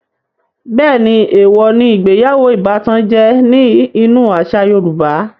Bẹ́ẹ̀ni, èèwò ní ìgbéyàwó ìbátan jẹ́ ní inú àṣà yorùbá